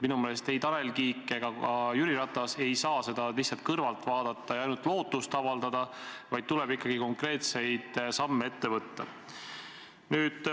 Minu meelest ei Tanel Kiik ega ka Jüri Ratas ei saa seda lihtsalt kõrvalt vaadata ja ainult lootust avaldada, vaid tuleb ikkagi konkreetseid samme ette võtta.